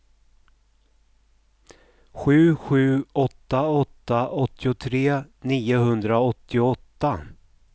sju sju åtta åtta åttiotre niohundraåttioåtta